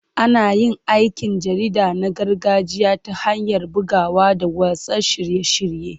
Ana yin aikin jarida na gargajiya ta hanyar bugawa da watsa shirye-shirye.